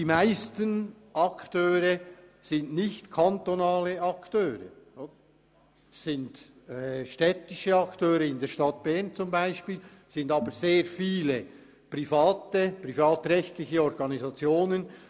Die meisten Akteure sind nicht beim Kanton, sondern beispielsweise bei der Stadt, und es gibt auch sehr viele privatrechtliche Organisationen.